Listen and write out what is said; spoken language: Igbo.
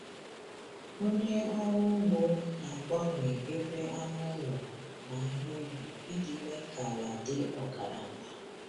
Onye ọrụ ugbo na-agbanwe ebe anụ ụlọ na ihe ubi iji mee ka ala dị ọgaranya.